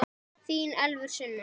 Þín Elfur Sunna.